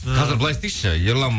қазір былай істейікші ерлан